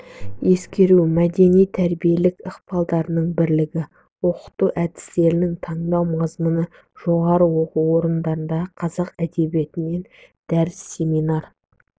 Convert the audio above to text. ескеру мәдени-тәрбиелік ықпалдардың бірлігі оқыту әдістерін таңдау мазмұны жоғары оқу орындарындағы қазақ әдебиетінен дәріс семинар